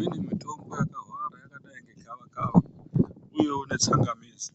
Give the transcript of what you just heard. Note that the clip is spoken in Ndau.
Imweni mitombo yakawanda yakadai negava kava iyo netsangamidzi